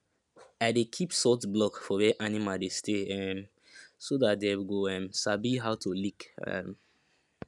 i dey keep salt block for where animal dey stay um so dat dem go um sabi how to lick um